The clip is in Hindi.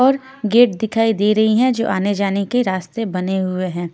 और गेट दिखाई दे रही है जो आने जाने के रास्ते बने हुए हैं।